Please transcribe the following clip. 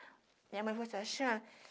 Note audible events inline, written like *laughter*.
Minha mãe *unintelligible*